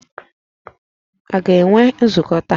A ga-enwe nzukọ taa?